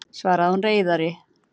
svaraði hún reiðari.